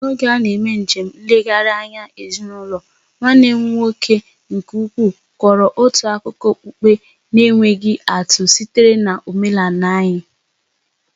N'oge a na-eme njem nlegharị anya ezinụlọ, nwanne m nwoke nke ukwu kọrọ otu akụkọ okpukpe na-enweghị atụ sitere n'ọmenala anyị.